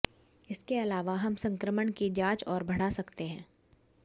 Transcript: इसके अलावा हम संक्रमण की जांच और बढ़ा सकते हैं